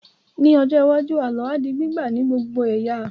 Ní ọjọ́ iwájú, àlọ́ á di gbígbà ní gbogbo ẹ̀yà